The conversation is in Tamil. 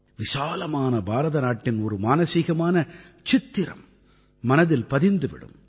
விசாலமான பாரத நாட்டின் ஒரு மானசீகமான சித்திரம் மனதில் பதிந்து விடும்